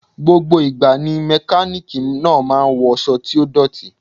Gbogbo ìgbà ni Mẹkáníkì náà máa ń wọṣọ tí ó dọ̀tí.